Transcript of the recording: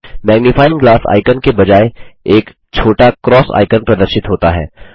magnifying glass icon के बजाय एक छोटा क्रॉस आइकन प्रदर्शित होता है